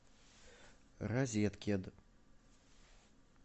розеткед